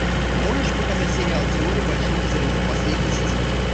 можешь показать сериал теория большого взрыва последний сезон